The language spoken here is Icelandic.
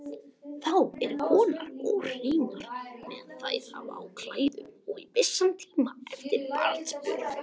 Þá eru konur óhreinar meðan þær hafa á klæðum og í vissan tíma eftir barnsburð.